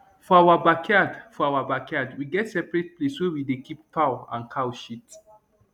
for our backyard for our backyard we get separate place wey we dey keep fowl and cow shit